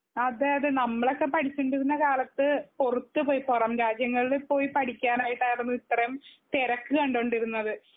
അതെയതെ നമ്മളൊക്കെപഠിച്ചോണ്ടിരുന്ന കാലത്ത്‌ പൊറത്തുപോയ പൊറം രാജ്യങ്ങളിൽ പോയ് പഠിക്കാനായിട്ടാരുന്നു ഇത്രേം തിരക്ക് കണ്ടൊണ്ടിരുന്നത്.